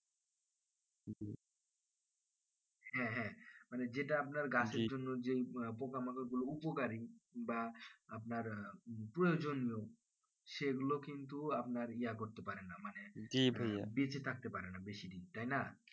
হ্যাঁ হ্যাঁ মানে যেটা আপনার গাছের জন্য যে পোকামাকড় গুলো উপকারী বা আপনার প্রয়োজনীয় সেগুলো কিন্তু আপনার ইয়া করতে পারেনা মানে বেঁচে থাকতে পারেনা বেশি দিন তাইনা